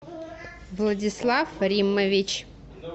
владислав риммович